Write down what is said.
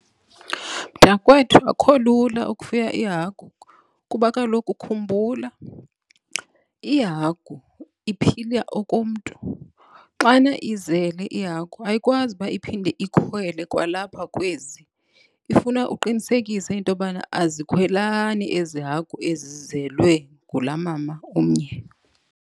Mntakwethu, akho lula ukufuya ihagu kuba kaloku khumbula ihagu iphila okomntu. Xana izele ihagu ayikwazi uba iphinde ikhwele kwalapha kwezi. Ifuna uqinisekise into yobana azikhwelani ezi hagu ezizelwe ngulaa mama umnye.